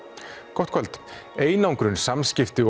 gott kvöld einangrun samskipti